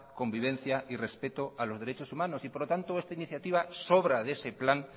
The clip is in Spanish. convivencia y respeto a los derechos humanos y por lo tanto esta iniciativa sobra de ese plan